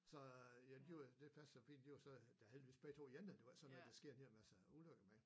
Så ja de var det passer fint de var så da heldigvis begge 2 ene det var ikke sådan noget der sker en hel masse ulykker med